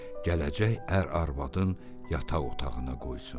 Gələcək ər arvadın yataq otağına qoysun.